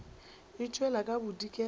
e tšwela ka bodikela e